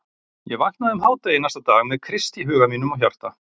Ég vaknaði um hádegi næsta dag með Krist í huga mínum og hjarta.